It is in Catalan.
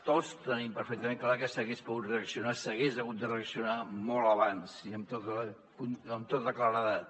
tots tenim perfectament clar que s’hagués pogut reaccionar s’hagués hagut de reaccionar molt abans i amb tota claredat